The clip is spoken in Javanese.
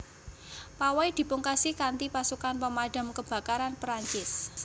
Pawai dipungkasi kanthipasukan Pemadam Kebakaran Perancis